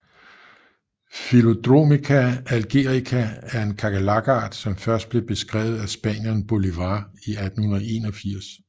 Phyllodromica algerica er en kakerlakart som først blev beskrevet af spanieren Bolívar i 1881